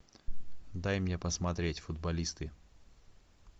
дай мне посмотреть футболисты